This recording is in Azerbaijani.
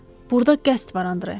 Burda qəsd var Andre.